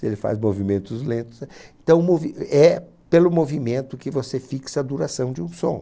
Se ele faz movimentos lentos... Então movi, é pelo movimento que você fixa a duração de um som.